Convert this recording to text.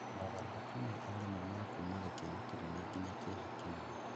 mogarũrũku ma o rĩmwe ma kuuma gĩkeno kĩnene nginya kĩeha kĩnene.